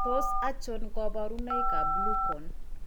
Tos achon kabarunaik ab Blue cone ?